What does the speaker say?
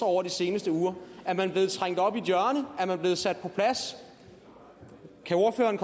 over de seneste uger er man blevet trængt op i et hjørne er man blevet sat på plads kan ordføreren